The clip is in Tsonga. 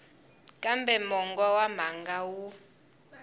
kambe mongo wa mhaka wu